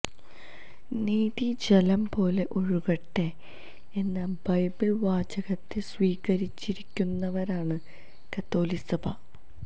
നീതി ജലം പോലെ ഒഴുകട്ടെ എന്ന ബൈബിള് വാചകത്തെ സ്വീകരിച്ചിരിക്കുന്നവരാണ് കത്തോലിക്കസഭ